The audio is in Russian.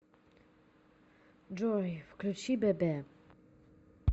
джой включи бебе